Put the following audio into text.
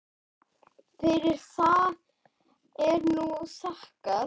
Fyrir það er nú þakkað.